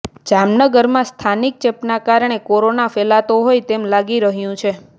જામનગરમાં સ્થાનિક ચેપના કારણે કોરોના ફેલાતો હોય તેમ લાગી રહ્યું છે